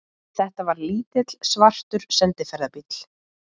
Þetta var lítill, svartur sendiferðabíll.